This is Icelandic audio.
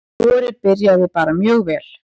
Vorið byrjaði bara mjög vel.